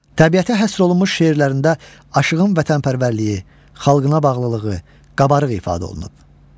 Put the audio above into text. Təbiətə həsr olunmuş şeirlərində Aşığın vətənpərvərliyi, xalqına bağlılığı qabarıq ifadə olunub.